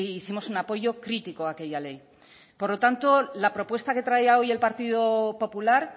hicimos un apoyo crítico a aquella ley por lo tanto la propuesta que traía hoy el partido popular